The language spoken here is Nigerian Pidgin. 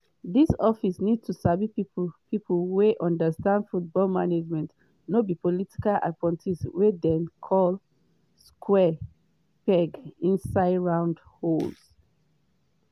dis office need sabi pipo pipo wey understand football management no be political appointees wetin dem call square pegs inside round holes.”